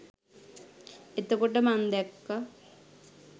එතකොට මං දැක්ක